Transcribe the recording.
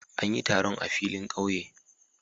An yi taron a filin kauye.